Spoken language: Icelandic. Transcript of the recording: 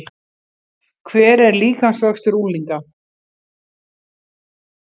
Hver er líkamsvöxtur unglinga?